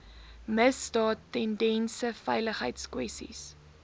misdaad tendense veiligheidskwessies